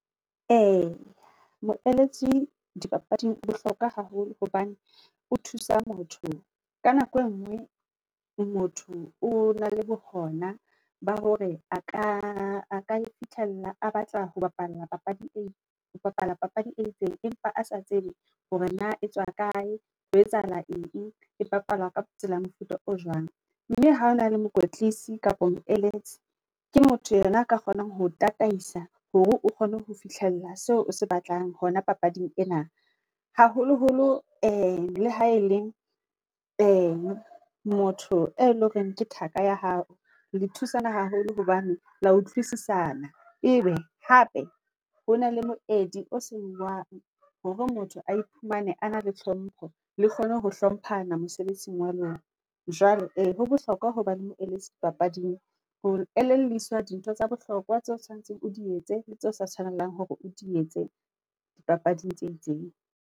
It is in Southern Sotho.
Eya moeletsi dipapading bohlokwa haholo, hobane o thusa motho, ka nako e ngoe, motho o na le bohona, ba hore aka aka iphihlella a batla ho bapala papadi e ho bapala papadi e itseng, empa a sa tsebe hore na etsoa kae, ho etsahala eng, e bapala ka tsela mofuta o jwang. Mme ha ona le mokoetlisi kapa moeletsi, ke motho enwa a ka kgonang ho tataisa, hore o kgone ho fihlella seo o se batlang hona papading ena, haholoholo e le ha e leng, e motho eo e leng hore ke thaka ya hao, le thusana haholo hobane le ya utlwisisana, ebe hape hona le moedi o seuwang, hore motho a iphumane a na le hlompho, le kgone ho hlomphana mosebetsing wa lona. Jwale e ho bohlokwa ho ba le moeletsi dipapading, ho elelliswa dintho tsa bohlokwa tseo tshoanetseng o di etse, le tse o sa tshwanelang hore o di etse dipapading tse itseng.